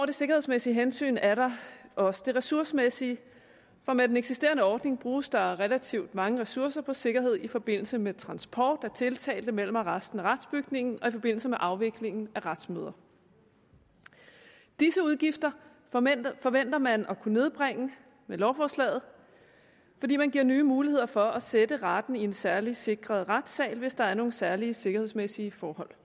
det sikkerhedsmæssige hensyn er der også det ressourcemæssige for med den eksisterende ordning bruges der relativt mange ressourcer på sikkerhed i forbindelse med transport af tiltalte mellem arresten og retsbygningen og i forbindelse med afviklingen af retsmøder disse udgifter forventer man at kunne nedbringe med lovforslaget fordi man giver nye muligheder for at sætte retten i en særligt sikret retssal hvis der er nogle særlige sikkerhedsmæssige forhold